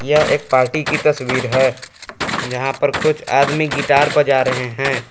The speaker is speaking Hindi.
यह एक पार्टी की तस्वीर है यहां पर कुछ आदमी गिटार बजा रहे हैं।